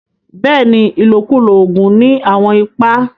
Bẹ́ẹ̀ni, ilọ̀kúlọ̀ oogun ni awọn ìpà.